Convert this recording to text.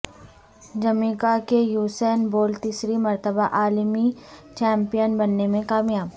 Jamaica کے Usain Bolt تیسری مرتبہ عالمی چیمپیئن بننے میں کامیاب